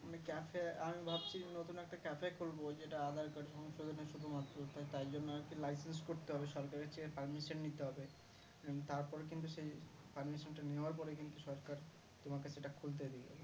আমি cafe এ আমি ভাবছি নতুন একটা cafe এ খুলবো যেটা aadhar card সংশোধনে শুধুমাত্র তাই জন্য আরকি license করতে হবে সরকারের চেয়ে permission নিতে হবে and তারপরে কিন্তু সেই permission টা নেওয়ার পরে কিন্তু সরকার তোমার কাছে এটা খুলতে দেবে